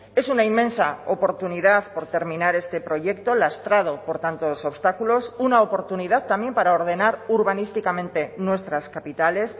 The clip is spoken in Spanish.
es una inmensa oportunidad por terminar este proyecto lastrado por tantos obstáculos una oportunidad también para ordenar urbanísticamente nuestras capitales